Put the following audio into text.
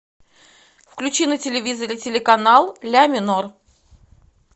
включи на телевизоре телеканал ля минор